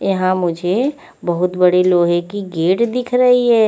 यहा मुझे बहोत बड़ी लोहे की गेट दिख रई है।